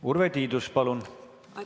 Urve Tiidus, palun!